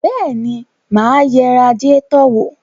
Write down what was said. Bẹ́ẹ̀ni, mà á yẹ radiétọ̀ wò.